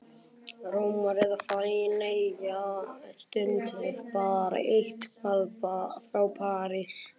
Rómar eða Feneyja, stundum bara eitthvað frá París.